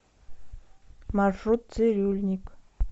маршрут цирюльникъ